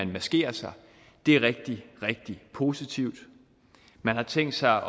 maskerer sig det er rigtig rigtig positivt man har tænkt sig